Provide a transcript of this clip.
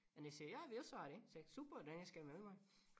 Og de siger ja vi også har det sagde jeg super da jeg skal melde mig